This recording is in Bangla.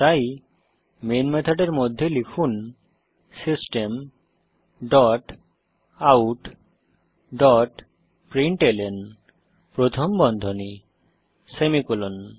তাই মেইন মেথডের মধ্যে লিখুন system dot out dot println প্রথম বন্ধনী সেমিকোলন